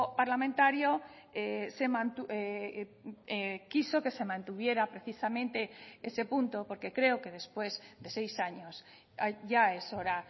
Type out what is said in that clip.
parlamentario quiso que se mantuviera precisamente ese punto porque creo que después de seis años ya es hora